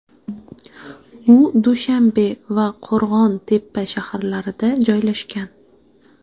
U Dushanbe va Qo‘rg‘on-Tepa shaharlarida joylashgan.